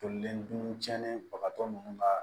Tolilen dun cɛnnen bagatɔ ninnu kaa